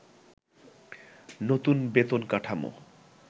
নতুন বেতন কাঠামো